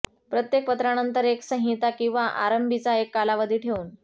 प्रत्येक पत्रानंतर एक संहिता किंवा आरंभीचा एक कालावधी ठेवून